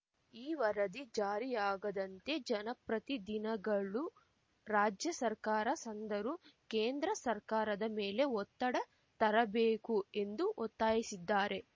ಈ ವರದಿ ಜಾರಿಯಾಗದಂತೆ ಜನಪ್ರತಿಧಿನಗಳು ರಾಜ್ಯ ಸರ್ಕಾರ ಸಂದರು ಕೇಂದ್ರ ಸರ್ಕಾರದ ಮೇಲೆ ಒತ್ತಡ ತರಬೇಕು ಎಂದು ಒತ್ತಾಯಿಸಿದ್ದಾರೆ